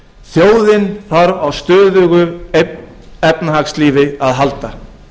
þjóðin þarf á stöðugu efnahagslífi að halda